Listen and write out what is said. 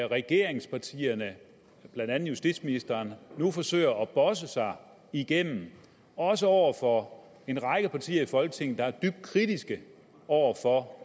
regeringspartierne blandt andet justitsministeren nu forsøger at bosse sig igennem også over for en række partier i folketinget der er dybt kritiske over for